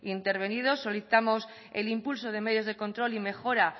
intervenido solicitamos el impulso de medios de medios de control y mejora